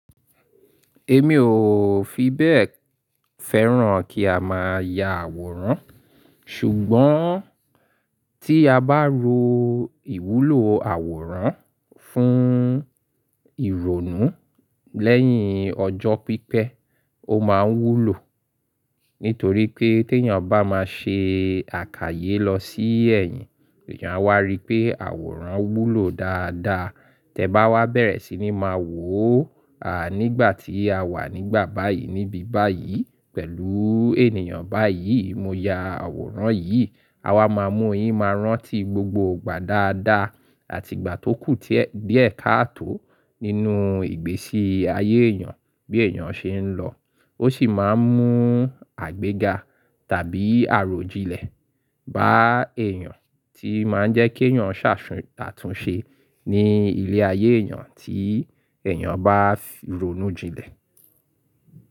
Èmi ò fi bẹ́ẹ̀ fẹ́ràn kí a máa ya àwòrán ṣùgbọ́n tí a bá ro ìwúlò àwòrán fún ìrònú lẹ́yìn ọjọ́ pípẹ́, ó máa wúlò. Nítorí pé tí èèyàn bá máa ṣe àkayé lọ sí ẹ̀yìn, èèyàn á wá rí pé àwòrán wúlò dáadáa. Tẹ bá wá bẹ̀rẹ̀ sí ní máa wò ó, à nígbà tí a wà nígbà báyìí níbi báyìí pẹ̀lú ènìyàn báyìí, mo ya àwòrán yìí, à wa máa mọ̀ ọ́n, yìí máa rántí gbogbo ìgbà dáadáa àti ìgbà tó kù díẹ̀ káàtò nínú ìgbésí ayé èèyàn bí èèyàn ṣe ń lọ. Ó sì máa ń mú àgbéga tàbí àròjinlẹ̀ bá èèyàn tí máa ń jẹ́ kí èèyàn ṣàtúnṣe ní ilé ayé èèyàn tí èèyàn bá ronú jinlẹ̀.